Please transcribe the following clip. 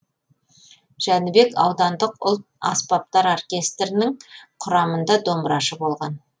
жәнібек аудандық ұлт аспаптар оркестрінің құрамында домбырашы болған